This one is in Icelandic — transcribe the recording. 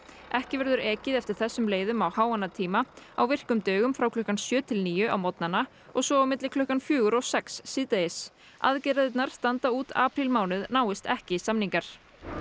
ekki verður ekið eftir þessum leiðum á háannatíma á virkum dögum frá klukkan sjö til níu á morgnana og svo milli klukkan fjögur og sex síðdegis aðgerðirnar standa út aprílmánuð náist ekki samningar